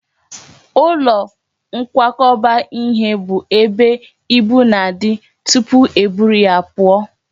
Ụlọ nkwakọba ihe bụ ebe ibu na-adị tụpụ e buru ya pụọ